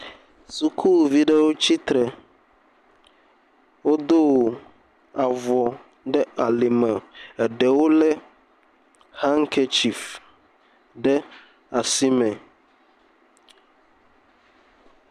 Sukuvi ɖewo tsitre, wodo avɔ ɖe ali me eɖewo lé hankerchief ɖe asi me.